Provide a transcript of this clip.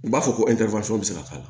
U b'a fɔ ko bɛ se k'a la